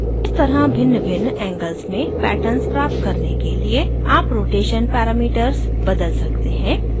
इस तरह भिन्नभिन्न angles में patterns प्राप्त करने के लिये आप rotation parameters बदल सकते हैं